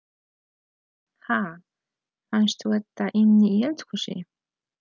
Ha! Fannstu þetta inni í eldhúsi?